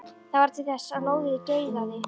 Það varð til þess að lóðið geigaði.